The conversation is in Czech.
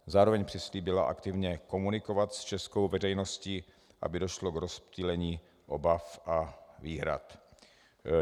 Zároveň přislíbili aktivně komunikovat s českou veřejností, aby došlo k rozptýlení obav a výhrad.